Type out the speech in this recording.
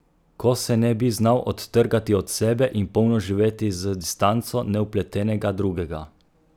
Ko se ne bi znal odtrgati od sebe in polno živeti z distanco nevpletenega drugega!